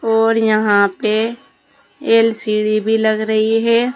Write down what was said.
और यहां पे एल_सी_डी भी लग रही है।